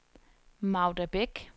Magda Bech